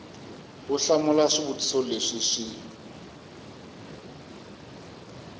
u hlamula swivutiso leswi swi